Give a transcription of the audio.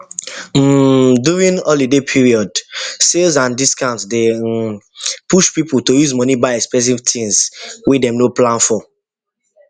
um during holiday period sales and discounts dey um push people to use money buy expensive things wey dem no plan for